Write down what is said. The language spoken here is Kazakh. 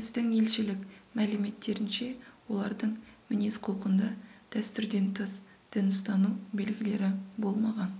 біздің елшілік мәліметтерінше олардың мінез-құлқында дәстүрден тыс дін ұстану белгілері болмаған